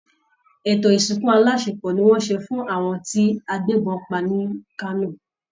Etò ìsìnkù aláṣepọ̀ ni wọ́n ṣe fún àwọn tí agbébọn pa ní Kano